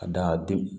Ka da denw